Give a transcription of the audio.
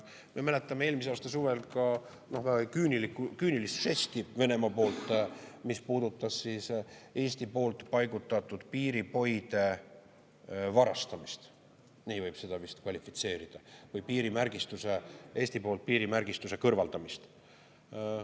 Me mäletame eelmise aasta suvel ka küünilist žesti Venemaa poolt, mis puudutas Eesti poolt paigutatud piiripoide varastamist – nii võib seda vist kvalifitseerida – või piirimärgistuse, Eesti-poolse piirimärgistuse kõrvaldamist.